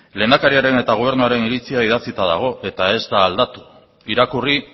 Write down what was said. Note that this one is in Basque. lehendakariaren eta gobernuaren iritzia idatzita dago eta ez da aldatu irakurri